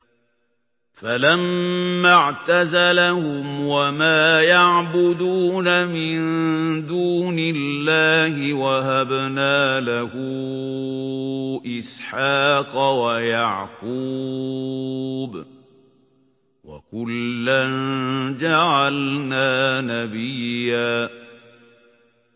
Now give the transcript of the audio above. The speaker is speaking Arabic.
فَلَمَّا اعْتَزَلَهُمْ وَمَا يَعْبُدُونَ مِن دُونِ اللَّهِ وَهَبْنَا لَهُ إِسْحَاقَ وَيَعْقُوبَ ۖ وَكُلًّا جَعَلْنَا نَبِيًّا